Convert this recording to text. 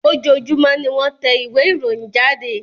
Ojoojúmọ́ ni wọ́n tẹ ìwé ìròyìn jáde.